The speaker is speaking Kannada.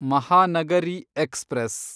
ಮಹಾನಗರಿ ಎಕ್ಸ್‌ಪ್ರೆಸ್